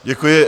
Děkuji.